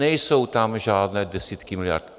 Nejsou tam žádné desítky miliard.